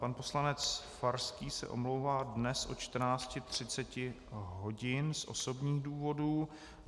Pan poslanec Farský se omlouvá dnes od 14.30 hodin z osobních důvodů.